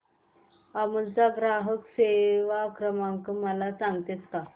अमूल चा ग्राहक सेवा क्रमांक मला सांगतेस का